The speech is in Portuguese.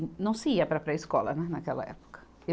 Não se ia para a pré-escola, né, naquela época.